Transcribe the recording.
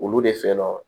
Olu de fɛ nɔ